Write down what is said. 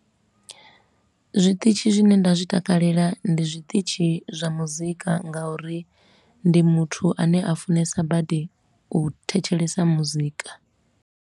Zwiṱitshi zwine nda zwi takalela ndi zwiṱitshi zwa muzika ngauri ndi muthu a ne a funesa badi u thetshelesa muzika.